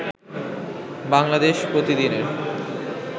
বাংলাদেশ প্রতিদিনের